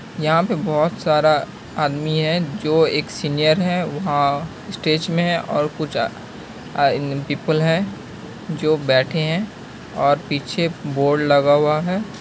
यहाँ पे बहुत सारा आदमी है। जो एक सीनियर है। वहाँ स्टेज मे है और कुछ आ इन पीपल है जो बैठे है और पीछे बोर्ड लगा हुआ है।